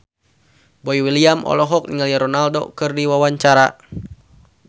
Boy William olohok ningali Ronaldo keur diwawancara